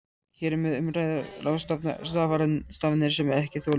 Hér er um að ræða ráðstafanir sem ekki þola bið.